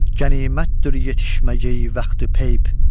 Qənimətdir yetişmək ey vaxtı peyp.